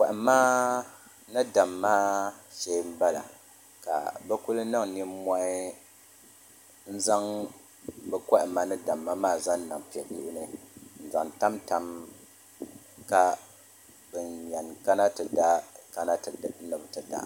Kohamma ni damma shee n bala ka bi ku niŋ nimmohi n zaŋ bi kohamma ni damma maa n zaŋ niŋ piɛ Bihi ni n zaŋ tamtam ka bin yɛn kana ti da kana ni bi ti da